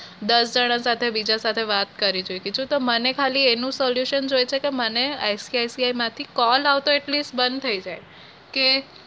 દસ જણા સાથે બીજા સાથે વાત કરી ચુકી છું તો મને ખાલી એનું solution જોઈએ છે કે મને ICIC માંથી call આવતો at least બંધ થઇ જાય કે